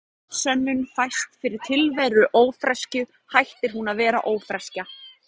Um leið og staðfest sönnun fæst fyrir tilveru ófreskju hættir hún að vera ófreskja.